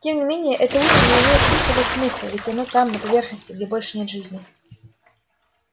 тем не менее это утро не имеет никакого смысла ведь оно там на поверхности где больше нет жизни